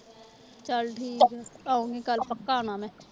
ਚੱਲ ਠੀਕ ਹੈ ਆਊਂਗੀ ਕੱਲ੍ਹ ਪੱਕਾ ਆਉਣਾ ਮੈਂ।